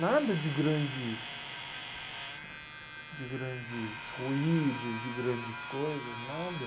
Nada de grandes... De grandes ruídos, de grandes coisas, nada.